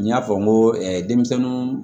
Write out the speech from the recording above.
N y'a fɔ n ko denmisɛnnin